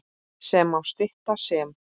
sem má stytta sem